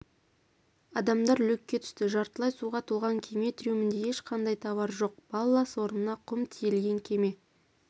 адамдар люкке түсті жартылай суға толған кеме трюмінде ешқандай товар жоқ баллас орнына құм тиелген кеме